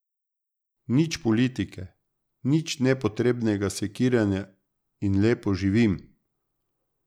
Nič politike, nič nepotrebnega sekiranja, in lepo živim.